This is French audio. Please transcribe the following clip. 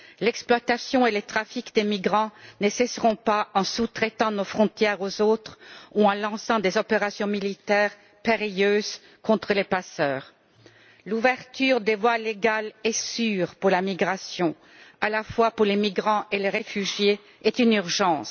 L'exploitation et le trafic de migrants ne cesseront pas en sous traitant nos frontières aux autres ou en lançant des opérations militaires périlleuses contre les passeurs. L'ouverture de voies légales et sûres pour la migration, à la fois pour les migrants et les réfugiés, est une urgence.